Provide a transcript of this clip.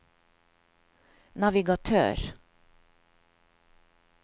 navigatør